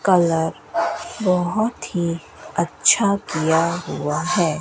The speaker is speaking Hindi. कलर बहुत ही अच्छा किया हुआ है।